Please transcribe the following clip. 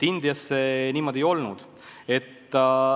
Indias see niimoodi ei olnud.